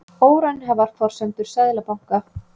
Óraunhæfar forsendur Seðlabanka